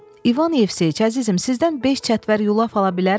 İvan Yevseyiç, əzizim, sizdən beş çətvər yulaf ala bilərəmmi?